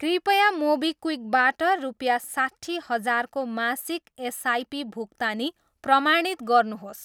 कृपया मोबिक्विक बाट रुपियाँ साट्ठी हजारको मासिक एसआइपी भुक्तानी प्रमाणित गर्नुहोस्।